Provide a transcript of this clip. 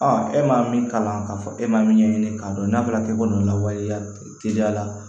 e ma min kalan k'a fɔ e ma min ɲɛɲini k'a dɔn n'a fɔra k'e bɛ nin lawaleya teliya la